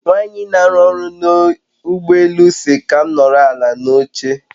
Nwanyi n'aru oru n'ugbo elu si ka m noro ala n'oche